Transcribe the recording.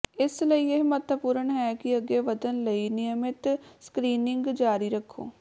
ਇਸ ਲਈ ਇਹ ਮਹੱਤਵਪੂਰਣ ਹੈ ਕਿ ਅੱਗੇ ਵਧਣ ਲਈ ਨਿਯਮਤ ਸਕ੍ਰੀਨਿੰਗ ਜਾਰੀ ਰੱਖੋ